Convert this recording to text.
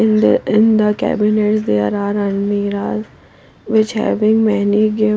in the in the cabinets there are almiras which having many gift.